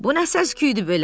Bu nə səsküyüdü belə?